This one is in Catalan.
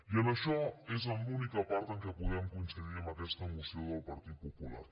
i en això és en l’única part en què podem coincidir amb aquesta moció del partit popular